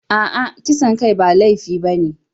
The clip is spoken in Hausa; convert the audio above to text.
A'a, kisan kai ba laifi ba ne.